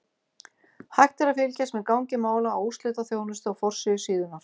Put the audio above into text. Hægt er að fylgjast með gangi mála á úrslitaþjónustu á forsíðu síðunnar.